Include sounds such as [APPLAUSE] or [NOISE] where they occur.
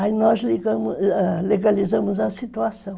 Aí nós [UNINTELLIGIBLE] legalizamos a situação.